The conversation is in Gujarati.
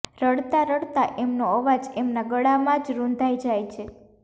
રડતાં રડતાં એમનો અવાજ એમનાં ગળામાં જ રુંધાઈ જાય છે